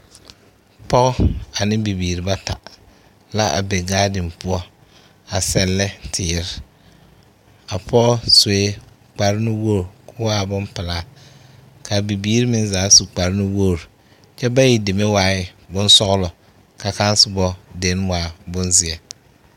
Pɔɔ ane bibiiri bata la a be gaaden poɔ a sellɛ teer. A pɔɔ sue kparnuwoor koo waa bompelaa. Kaa bibiir meŋ zaa su kparnuwoor. Kyɛ bayi deme waɛɛ bonsɔɔlɔ.ka sããsobo den waa bonzeɛ.